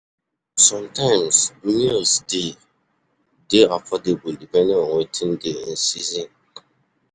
Sometimes, meals dey dey affordable depending on wetin dey in season